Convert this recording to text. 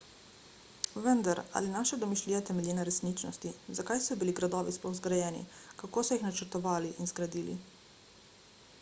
vendar ali naša domišljija temelji na resničnosti zakaj so bili gradovi sploh zgrajeni kako so jih načrtovali in zgradili